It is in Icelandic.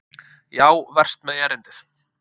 Já, verst með erindið.